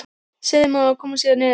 Seremónían við að koma sér niður.